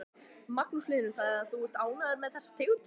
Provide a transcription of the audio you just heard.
Magnús Hlynur: Þannig að þú ert ánægður með þessa tegund?